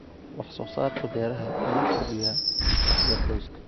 Wax soo saarka beeraha ayaa kordhiya dakhliga qoyska.